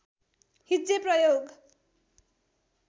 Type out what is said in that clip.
हिज्जे प्रयोग